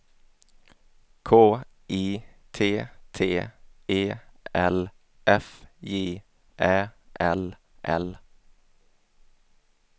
K I T T E L F J Ä L L